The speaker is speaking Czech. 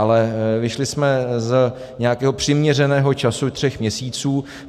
Ale vyšli jsme z nějakého přiměřeného času tří měsíců.